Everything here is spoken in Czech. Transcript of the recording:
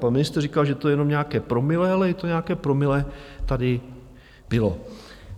Pan ministr říkal, že to je jenom nějaké promile, ale i to nějaké promile tady bylo.